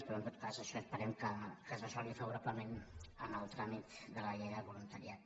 però en tot cas això esperem que es resolgui favorablement en el tràmit de la llei del voluntariat